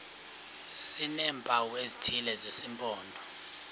sineempawu ezithile zesimpondo